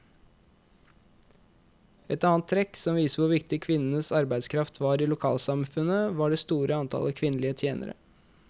Et annet trekk som viser hvor viktig kvinnenes arbeidskraft var i lokalsamfunnet, var det store antallet kvinnelige tjenere.